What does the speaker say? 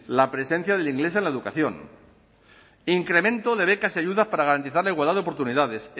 la presencia del inglés en la educación incremento de becas y ayudas para garantizar la igualdad de oportunidades